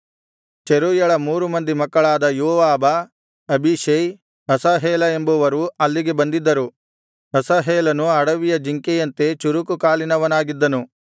ಚೆರೂಯಳ ಮೂರು ಮಂದಿ ಮಕ್ಕಳಾದ ಯೋವಾಬ ಅಬೀಷೈ ಅಸಾಹೇಲ ಎಂಬುವರು ಅಲ್ಲಿಗೆ ಬಂದಿದ್ದರು ಅಸಾಹೇಲನು ಅಡವಿಯ ಜಿಂಕೆಯಂತೆ ಚುರುಕು ಕಾಲಿನವನಾಗಿದ್ದನು